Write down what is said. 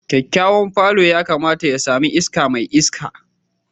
Kyakkyawan palour yakamata ya sami iska mai iska